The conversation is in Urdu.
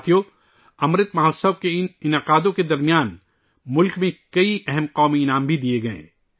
ساتھیو ، امرت مہوتسو کی ان تقریبات کے درمیان ملک میں کئی اہم قومی اعزازات بھی دیئے گئے